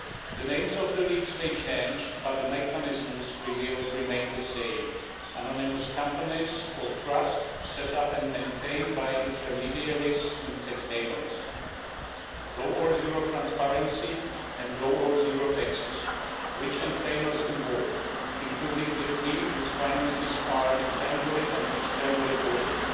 The names of the leaks may change, but the mechanisms revealed remain the same anonymous companies or trusts set up and maintained by intermediaries in tax havens, low or zero transparency and low or zero taxes, and the rich and famous involved, including the Queen, whose finances are internally and externally audited.